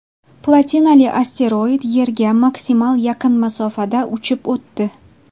Platinali asteroid Yerga maksimal yaqin masofada uchib o‘tdi.